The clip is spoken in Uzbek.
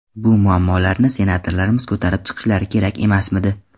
Bu muammolarni senatorlarimiz ko‘tarib chiqishlari kerak emasmidi?